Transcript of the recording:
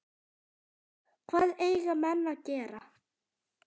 Hvað eiga menn að gera?